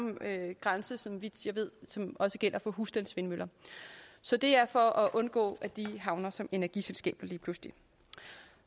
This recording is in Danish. grænse så vidt jeg ved som også gælder for husstandsvindmøller så det er for at undgå at de havner som energiselskaber lige pludselig